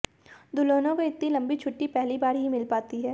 दुल्हनों को इतनी लंबी छुट्टी पहली बार ही मिल पाती है